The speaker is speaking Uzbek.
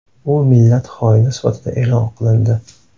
U millat xoini sifatida e’lon qilindi.